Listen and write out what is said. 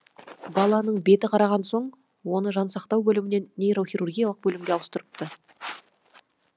баланың беті қараған соң оны жансақтау бөлімінен нейрохирургиялық бөлімге ауыстырыпты